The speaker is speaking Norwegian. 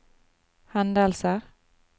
hendelser